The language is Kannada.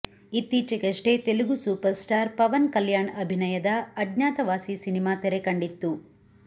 ಇತ್ತೀಚೆಗಷ್ಟೇ ತೆಲುಗು ಸೂಪರ್ ಸ್ಟಾರ್ ಪವನ್ ಕಲ್ಯಾಣ್ ಅಭಿನಯದ ಅಜ್ಞಾತವಾಸಿ ಸಿನಿಮಾ ತೆರೆ ಕಂಡಿತ್ತು